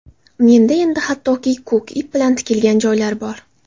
Menda endi hattoki, ko‘k ip bilan tikilgan joylar bor.